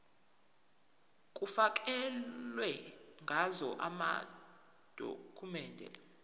kufakelwe ngazo amadokhumende